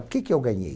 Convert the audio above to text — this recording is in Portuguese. O que que eu ganhei?